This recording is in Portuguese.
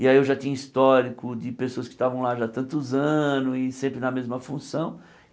E aí eu já tinha histórico de pessoas que estavam lá já tantos anos e sempre na mesma função.